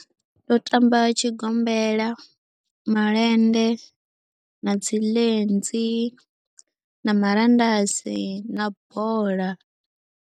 Ndo tamba tshigombela, malende na dzi lenzi na marandasi na bola.